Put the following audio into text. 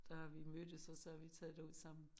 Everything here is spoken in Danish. Der har vi mødtes og så har vi taget derud sammen